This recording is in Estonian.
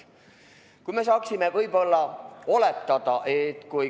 Ehk me saaksime midagi oletada.